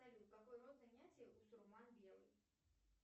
салют какой род занятий у сурман белый